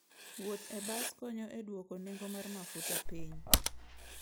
Wuoth e bas konyo e dwoko nengo mar mafuta piny.